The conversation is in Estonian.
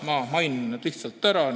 Ma mainin nad lihtsalt ära.